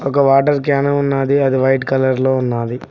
ఒక water can ఉన్నాది అది వైట్ కలర్ లో ఉన్నాది.